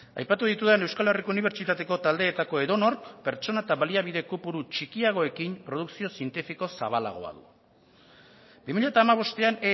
aipatu ditudan euskal herriko unibertsitateko taldeetako edonork pertsona eta baliabide kopuru txikiagoekin produkzio zientifiko zabalgoa du bi mila hamabostean